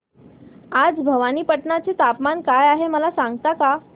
आज भवानीपटना चे तापमान काय आहे मला सांगता का